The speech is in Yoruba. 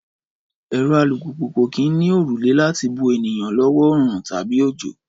Ẹ̀rọ alùpùpù kò kì í ní òrùlé láti bo ènìyàn lọ́wọ́ oòrùn tàbí òjò